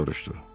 Atos soruşdu.